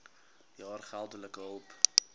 jaar geldelike hulp